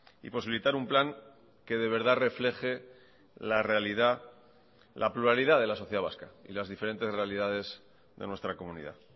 y posibilitar un plan que de verdad refleje la realidad la pluralidad de la sociedad vasca y las diferentes realidades de nuestra comunidad